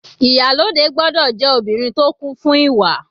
Ìyálòde gbọ́dọ̀ jẹ́ obìnrin tó kún fún ìwà.